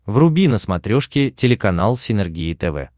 вруби на смотрешке телеканал синергия тв